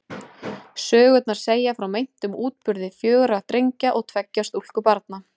Sögurnar segja frá meintum útburði fjögurra drengja og tveggja stúlkubarna.